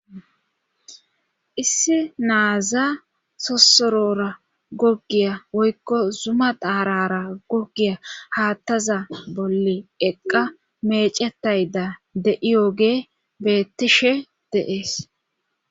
issi naaza sosorora goggiya woykko zuma daarara goggiya haattaza bolle eqqa mecetayda de7iyooge beettishe deees